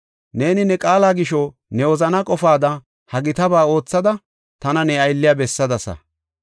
Neeni ne qaala gisho, ne wozanaa qofaada ha gitaba oothada tana ne aylliya bessadasa.